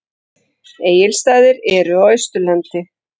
Egilsstaðir eru á Austurlandi.